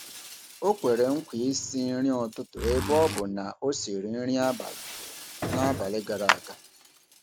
Ọ kwere nkwa isi nri ụtụtụ ebe ọ bụ na ọ siri nri abalị n’abalị gara aga.